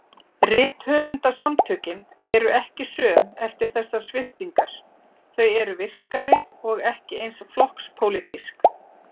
Rithöfundasamtökin eru ekki söm eftir þessar sviptingar, þau eru virkari- og ekki eins flokkspólitísk.